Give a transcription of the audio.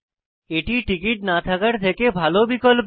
এটি টিকিট না থাকার থেকে ভালো বিকল্প